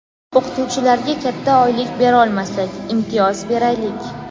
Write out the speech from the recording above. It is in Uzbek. O‘qituvchilarga katta oylik berolmasak, imtiyoz beraylik.